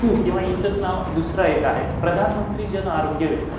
किंवा हिचंच नाव दुसरं एक आहे, प्रधानमंत्री जन आरोग्य योजना